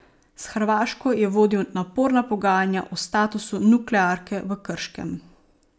S Hrvaško je vodil naporna pogajanja o statusu nuklearke v Krškem.